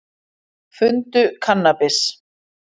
Fundu kannabis